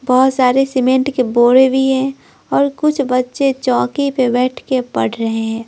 बहुत सारे सीमेंट के बोरे भी हैं और कुछ बच्चे चौकी पर बैठ के पढ़ रहे हैं।